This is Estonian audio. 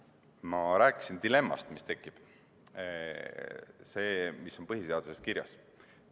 Ma rääkisin dilemmast, mis tekib – sellest, mis on põhiseaduses kirjas.